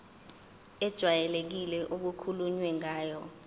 ejwayelekile okukhulunywe ngayo